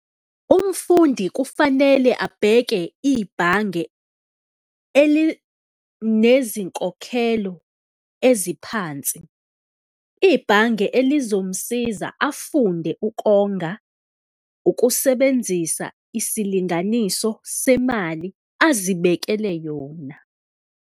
Umfundi kufanele abheke ibhange elinezinkokhelo eziphansi, ibhange elizomsiza afunde ukonga, ukusebenzisa isilinganiso semali azibekele yona.